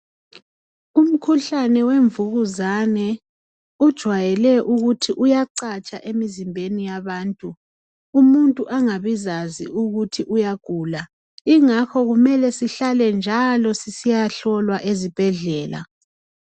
Umkhuhlane wemvukuzane ujwayele ukuthi uyacatsha emizimbeni yabantu umuntu angabizazi ukuthi uyagula ingakho kumele sihlale njalo sisiyahlolwa ezibhedlela.